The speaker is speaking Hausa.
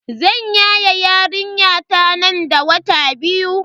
Zan yaye yarinyata nan da wata biyu.